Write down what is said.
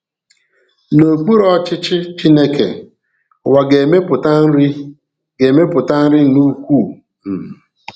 N'okpùrù ọchịchị Chineke, ụwa ga-emepụta nri ga-emepụta nri na ukwuu um